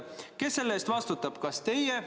Kes selle eest vastutab?